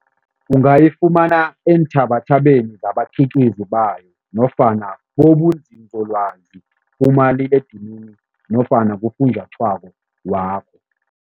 Ungayifumana eentjhabatjhabeni zabakhiqizi bayo nofana kubonzinzolwazi kumaliledinini nofana kufunjathwako wakho.